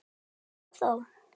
Jæja, þá.